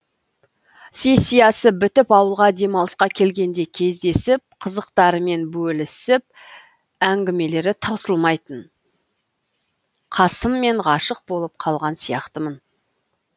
сессиясы бітіп ауылға демалысқа келгенде кездесіп қызықтарымен бөлісіп әңгімелері таусылмайтын қасым мен ғашық болып қалған сияқтымын